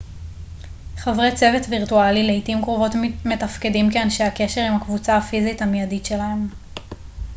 חברי צוות וירטואלי לעתים קרובות מתפקדים כאנשי הקשר עם הקבוצה הפיזית המידית שלהם